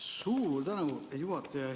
Suur tänu, juhataja!